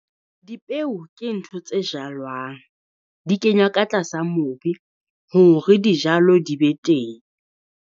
Dipeo ke ntho tse jalwang, di kenywa ka tlasa mobi hore dijalo di be teng.